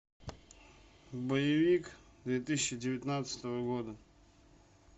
боевик две тысячи девятнадцатого года